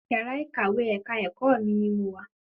Yàrá ìkàwé ẹ̀ka ẹ̀kọ́ mi ní mo wà